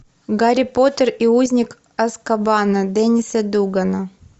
гарри поттер и узник азкабана дениса дугана